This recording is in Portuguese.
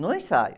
No ensaio.